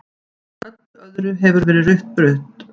Öllu öðru hefur verið rutt burt.